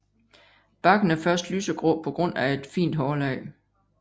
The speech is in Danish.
Barken er først lysegrå på grund af et fint hårlag